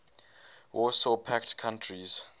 warsaw pact countries